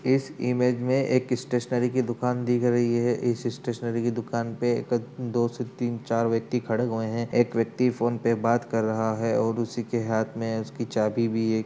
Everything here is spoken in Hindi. इस इमेज में एक स्टेशनरी की दुकान दिख रही है। स्टेशनरी की दुकान पर दो से तीन चार व्यक्ति खड़े हुए हैं। एक व्यक्ति फोन पर बात कर रहा है औरे उसी के हाथ में उसकी चाबी भी है।